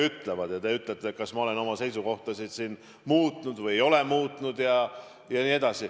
Te küsite, kas ma olen oma seisukohtasid muutnud või ei ole muutnud.